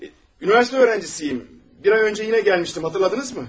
Universitet tələbəsiyəm, bir ay əvvəl yenə gəlmişdim, xatırladınızmı?